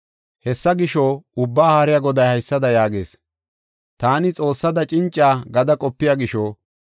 Hessa gisho, Ubbaa Haariya Goday haysada yaagees: “Taani xoossada cinca gada qopiya gisho,